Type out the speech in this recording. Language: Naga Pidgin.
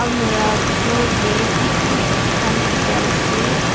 almura bitor tey kiki khan bikai ase.